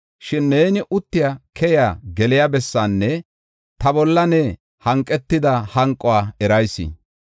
“Shin neeni uttiya, keyiya, geliya bessaanne ta bolla ne hanqetida hanquwa erayis.